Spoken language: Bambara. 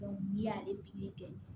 n'i y'ale pikiri kɛ